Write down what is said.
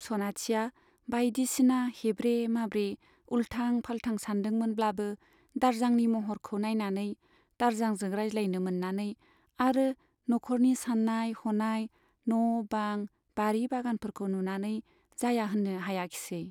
सनाथिया बाइदिसिना हेब्रे माब्रे , उल्टां फाल्टां सानदोंमोनब्लाबो दारजांनि महरखौ नाइनानै, दारजांजों रायज्लायनो मोन्नानै आरो न'ख'रनि सान्नाय हनाय , न' बां , बारि बागानफोरखौ नुनानै जाया होन्नो हायाखिसै।